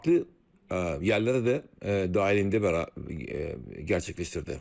fərqli yerlərə də dahilində gərçəkləşdirdi.